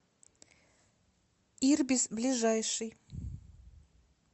ирбис ближайший